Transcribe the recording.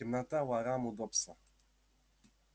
темнота ворам удобство